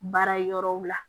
Baara yɔrɔw la